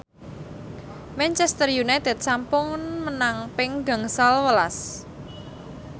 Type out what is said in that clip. Manchester united sampun menang ping gangsal welas